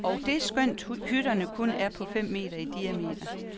Og det skønt hytterne kun er på fem meter i diameter.